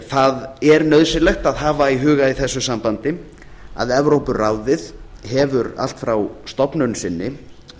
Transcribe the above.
það er nauðsynlegt að hafa í huga í þessu sambandi að evrópuráðið hefur allt frá stofnun sinni